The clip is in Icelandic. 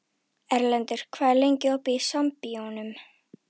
Erlendur, hvað er lengi opið í Sambíóunum?